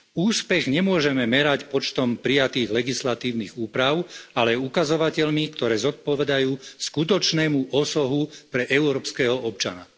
Úspech nemôžeme merať počtom prijatých legislatívnych úprav, ale ukazovateľmi, ktoré zodpovedajú skutočnému osohu pre európskeho občana.